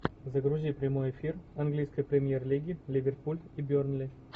загрузи прямой эфир английской премьер лиги ливерпуль и бернли